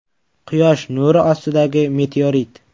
Quyosh nuri ostidagi meteorit.